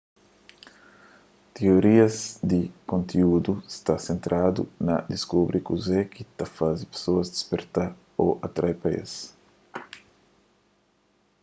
tiorias di konteúdu sta sentradu na diskubri kuze ki ta faze pesoas disperta ô atrai pa es